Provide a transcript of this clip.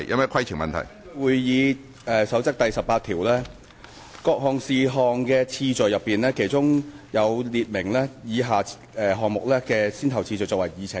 根據《議事規則》第18條，對於處理各類事項的次序已有明確的規定，以便按既定的先後次序納入議程處理。